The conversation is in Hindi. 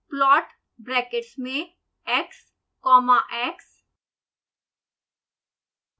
plot ब्रैकेट्स में x comma x